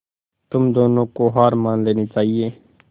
तुम दोनों को हार मान लेनी चाहियें